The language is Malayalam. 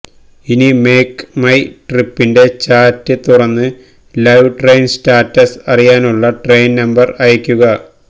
ഇനി മേക്ക് മൈ ട്രിപ്പിന്റെ ചാറ്റ് തുറന്ന് ലൈവ് ട്രെയിൻ സ്റ്റാറ്റസ് അറിയാനുള്ള ട്രെയിൻ നമ്പർ അയക്കുക